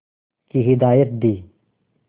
की हिदायत दी